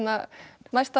næst að